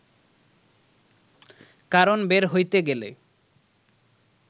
কারণ বের হইতে গেলে